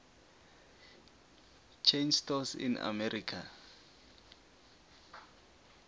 chain stores in america